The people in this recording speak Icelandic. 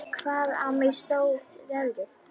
Hvaðan á mig stóð veðrið.